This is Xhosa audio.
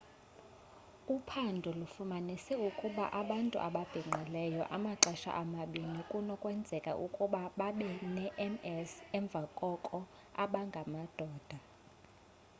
uphando lufumanise ukuba abantu ababhinqileyo amaxesha amabini kunokwenzeka ukuba babe ne-ms emva koko abangamadoda